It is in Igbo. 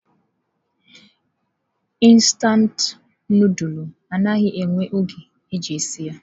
Instantụ nudulu anaghị ewe oge iji sie ya.